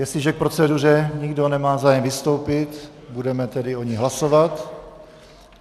Jestliže k proceduře nikdo nemá zájem vystoupit, budeme tedy o ní hlasovat.